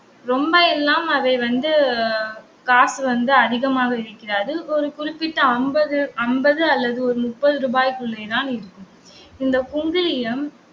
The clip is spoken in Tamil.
ரொம்ப எல்லாம் அதை வந்து காசு வந்து அதிகமாக இருக்காது ஒரு குறிப்பிட்ட அம்பது, அம்பது அல்லது ஒரு முப்பது ரூபாய்க்குள்ளேதான் இருக்கும். இந்த குங்கிலியம்